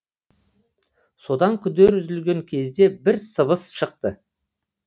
содан күдер үзілген кезде бір сыбыс шықты